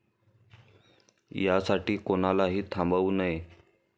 यासाठी कोणालाही थांबवू नये.